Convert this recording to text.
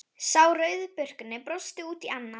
Sá rauðbirkni brosti út í annað.